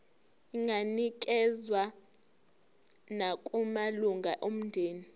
inganikezswa nakumalunga omndeni